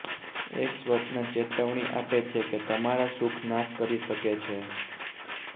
એક સ્વપ્ન ચેતવણી આપે છે કે તમારા સુખ નાશ કરી શકે છે